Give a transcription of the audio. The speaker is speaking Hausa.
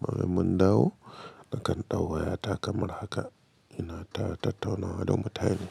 Bayan mun dawo, na kan ɗau wayata kamar haka ina ta tattaunawa da mutane.